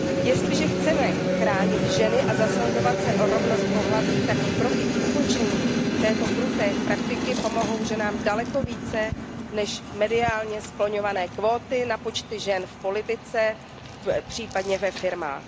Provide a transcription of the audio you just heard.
Jestliže chceme chránit ženy a zasazovat se o rovnost pohlaví, tak kroky k ukončení této kruté praktiky pomohou ženám daleko více než mediálně skloňované kvóty na počty žen v politice, případně ve firmách.